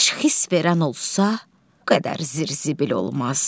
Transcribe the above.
Təşxis verən olsa, qədər zibil olmaz.